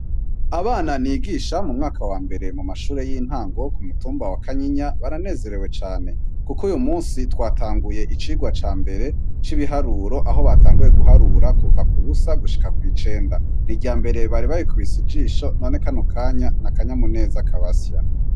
Abana nigisha mu mwaka wa mbere mu mashure y'intangowo ku mutumba wa kanyinya baranezerewe cane, kuko uyu musi twatanguye icirwa ca mbere c'ibiharuro aho batanguye guharura kuva ku busa gushika kw'icenda ni irya mbere bari babikubise ijisho none kano kanya n'akanyamu neza kabasya.